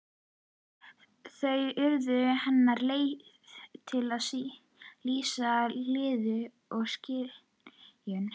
Þau urðu hennar leið til að lýsa líðan og skynjun.